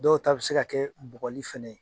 Dɔw ta bɛ se ka kɛ bugɔli fana ye.